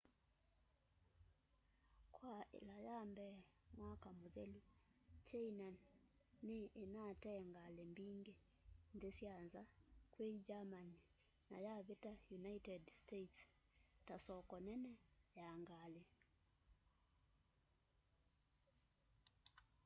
kwa ila ya mbee mwaka muthelu china ni inatee ngali mbingi nthi sya nza kwi germany na yavita united states ta soko nene ya ngali